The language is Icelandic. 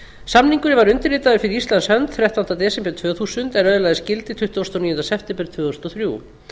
samningurinn var undirritaður fyrir íslands hönd þrettánda desember tvö þúsund en öðlaðist gildi tuttugasta og níunda september tvö þúsund og þrjú